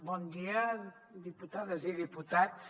bon dia diputades i diputats